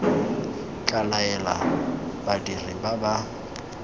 tla laela badiri ba ba